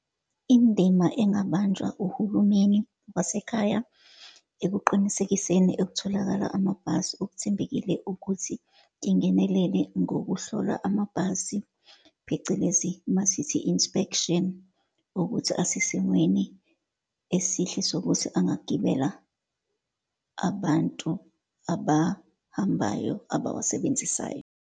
Indima angabanjwa uhulumeni wasekhaya, ekuqinisekiseni ek'tholakala amabhasi okuthembekile, ukuthi engenelele ngokuhlolwa amabhasi, phecelezi uma sithi inspection, ukuthi asesimweni esihle sokuthi angagibela abantu abahambayo, abawasebenzisayo.